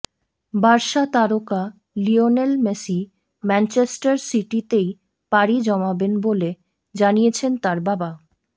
Barca তারকা Lionel Messi Manchester সিটিতেই পাড়ি জমাবেন বলে জানিয়েছেন তার বাবা